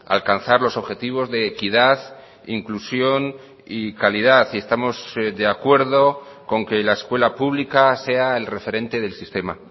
alcanzar los objetivos de equidad inclusión y calidad y estamos de acuerdo con que la escuela pública sea el referente del sistema